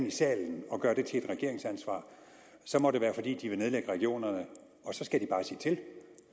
i salen og gøre det til et regeringsansvar må det være fordi de vil nedlægge regionerne og så skal de bare sige til og